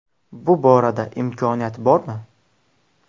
Bu borada imkoniyat bormi?